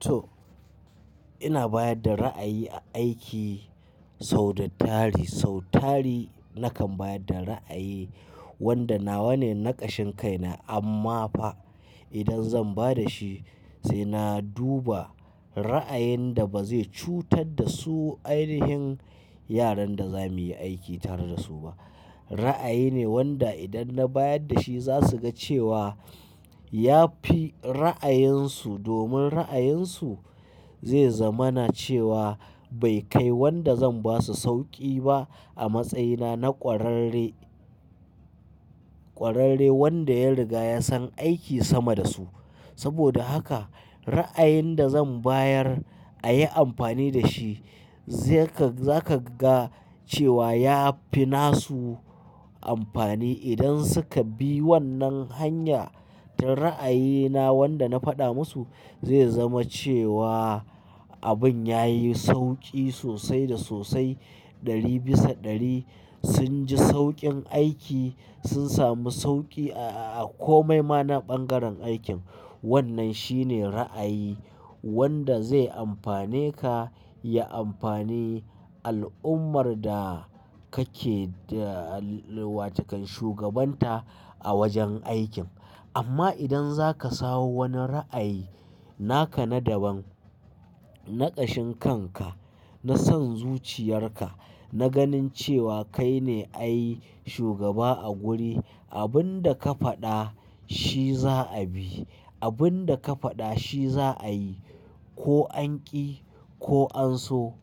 To, ina bayar da ra'ayi a aiki sau da tari. Sau tari nakan bayar da ra'ayi wadda nawa ne na kashin kai na, amma fa idan zan ba da shi sai na duba ra'ayin da ba zai cutar da su ainihin yaran da za mu yi aiki tare da su ba. Ra'ayi ne wadda idan na bayar da shi za su ga cewa ya fi ra'ayansu. Domin ra'ayinsu zai zama cewa bai kai wadda zan ba su sauƙi ba a matsayina na ƙwararre, ƙwararre wadda ya riga ya san aiki sama da su. Saboda haka ra'ayin da zan bayar a yi amfani da shi, zaka, za ka ga cewa ya fi nasu amfani idan suka bi wannan hanya ta ra'ayina wadda na faɗa musu. Zai zama cewa abin ya yi sauƙi sosai da sosai. Ɗari bisa ɗari sun ji sauƙin aiki, sun samu sauƙi a komai ma na bangaren aikin. Wannan shine ra'ayi wanda zai amfane ka, ya amfani al'ummar da kake da wa takan shugabanta a wajen aikin. Amma idan zaka sawo wani ra'ayi naka na daban, na kashin kanka, na son zuciyarka, na ganin cewa kai ne ai shugaba a guri, abin da ka faɗa shi za a bi, abun da ka faɗa shi za a yi. Ko anƙi ko an so,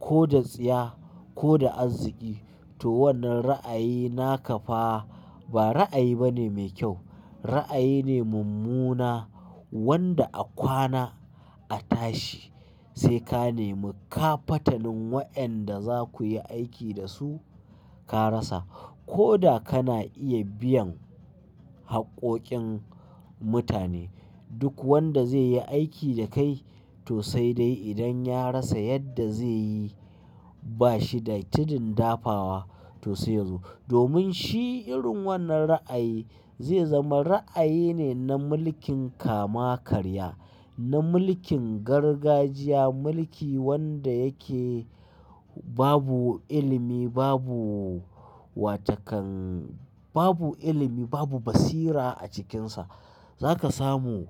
ko da tsiya ko da arziki. To wannan ra'ayi naka fa ba ra'ayi bane mai kyau. Ra'ayi ne mummuna wanda a kwana a tashi sai ka nemi. Ka fatalin waƴanda za ku yi aiki da su ka rasa. Ko da kana iya biyan haƙƙoƙin mutane, duk wanda zai yi aiki da kai to sai dai idan ya rasa yadda zai yi ba shi da tudun dafawa to sai yazo. Domin shi irin wannan ra'ayi zai zama ra'ayi ne na mulkin kama karya, na mulkin gargajiya. Mulki wanda yake babu ilimi, babu wa takan-- babu ilimi, babu basira a cikinsa. Za ka samu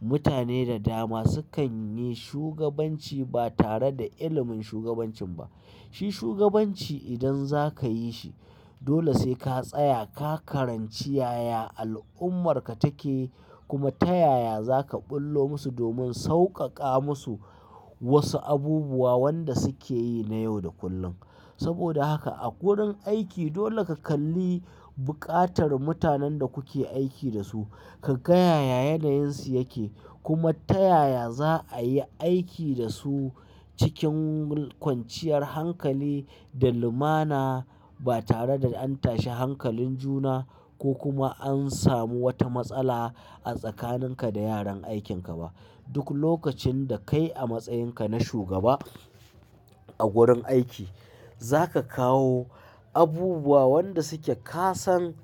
mutane da dama sukan yi shugabanci ba tare da ilimin shugabancin ba. Shi shugabanci idan za ka yi shi dole sai ka tsaya, ka karanci yaya al'ummarka take, kuma ta yaya za ka ɓullo musu domin sauƙaƙa musu wasu abubuwa wanda suke yi na yau da kullum. Saboda haka a gurin aiki dole ka kalli buƙatar mutanen da kuke aiki da su. Ka ga yaya yanayinsu yake kuma ta yaya za a yi aiki da su cikin kwanciyar hankali da lumana ba tare da an tashi hankalin juna ko kuma an samu wata matsala a tsakaninka da yaran aikinka ba. Duk lokacin da kai a matsayinka na shugaba a gurin aiki, za ka kawo abubuwa wanda suke ka san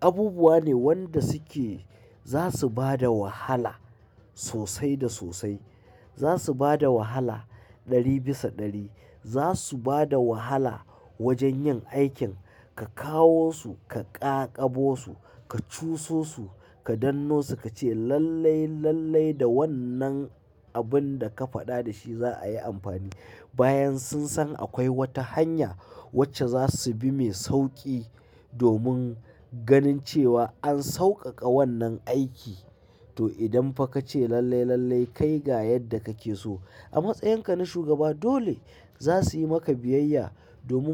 abubuwa ne wanda suke za su bada wahala sosai da sosai. Za su bada wahala ɗari bisa ɗari. Za su bada wahala wajen yin aikin. Ka kawo su, ka ƙaƙabo su, ka cuso su, ka danno su ka ce lallai, lallai da wannan abun da ka faɗa da shi za a yi amfani. Bayan sun san akwai wata hanya wacce za su bi mai sauƙi domin ganin cewa an sauƙaƙa wannan aiki. To idan fa ka ce lallai, lallai kai ga yadda kake so. A matsayinka na shugaba dole za su yi maka biyayya domin.